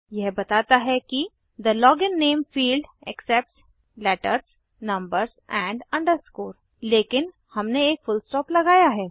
यह बताता है कि the login name field accepts letters numbers AMP underscore लेकिन हमने एक फुलस्टॉप लगाया है